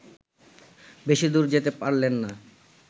বেশিদূর যেতে পারলেন না